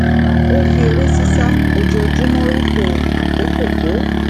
ó fi eré sisa ojoojúmó rópò àkókò tó